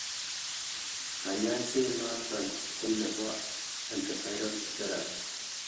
Kanyaiset noton ko nebo antiviral therapy